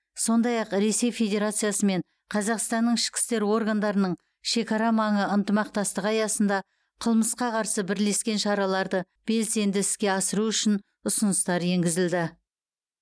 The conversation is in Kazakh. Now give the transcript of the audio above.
сондай ақ ресей федерациясы мен қазақстанның ішкі істер органдарының шекарамаңы ынтымақтастығы аясында қылмысқа қарсы бірлескен шараларды белсенді іске асыру үшін ұсыныстар енгізілді